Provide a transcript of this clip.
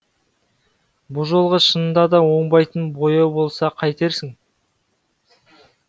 бұ жолғы шынында да оңбайтын бояу болса қайтерсің